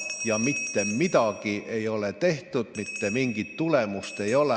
Ja mitte midagi ei ole tehtud, mitte mingit tulemust ei ole.